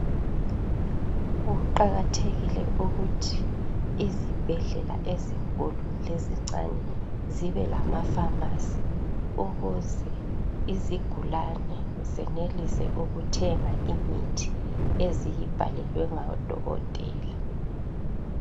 Kuqakathekile ukuthi izibhedlela ezinkulu lezincane zibe lamafamasi ukuze izigulane zenelise ukuthenga imithi eziyibhelelwe ngadokotela.